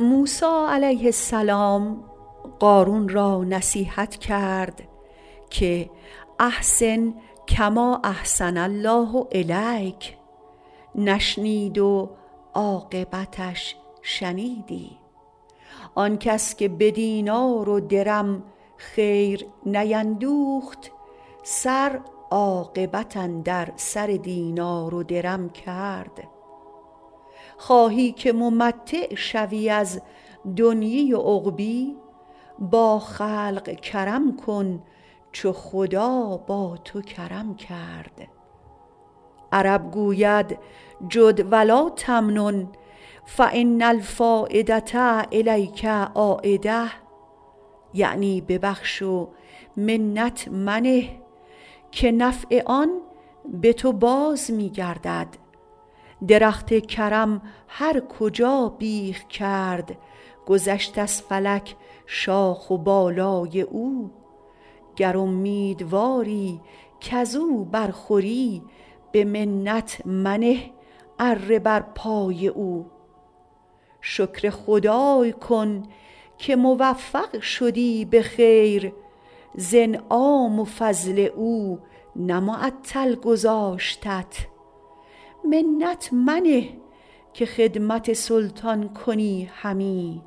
موسی علیه السلام قارون را نصیحت کرد که احسن کما احسن الله الیک نشنید و عاقبتش شنیدی آن کس که به دینار و درم خیر نیندوخت سر عاقبت اندر سر دینار و درم کرد خواهی که ممتع شوی از دنیا و عقبا با خلق کرم کن چو خدا با تو کرم کرد عرب گوید جد و لاتمنن فان الفایدة الیک عایدة یعنی ببخش و منت منه که نفع آن به تو باز می گردد درخت کرم هر کجا بیخ کرد گذشت از فلک شاخ و بالای او گر امیدواری کز او بر خوری به منت منه اره بر پای او شکر خدای کن که موفق شدی به خیر ز انعام و فضل او نه معطل گذاشتت منت منه که خدمت سلطان کنی همی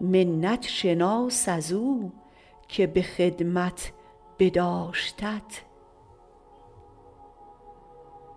منت شناس از او که به خدمت بداشتت